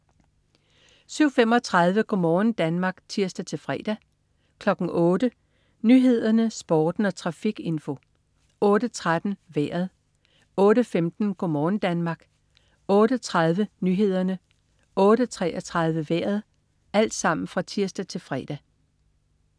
07.35 Go' morgen Danmark (tirs-fre) 08.00 Nyhederne, Sporten og trafikinfo (tirs-fre) 08.13 Vejret (tirs-fre) 08.15 Go' morgen Danmark (tirs-fre) 08.30 Nyhederne (tirs-fre) 08.33 Vejret (tirs-fre)